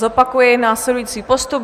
Zopakuji následující postup.